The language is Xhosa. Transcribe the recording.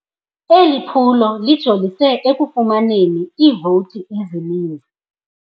Eli phulo lijolise ekufumaneni iivoti ezininzi.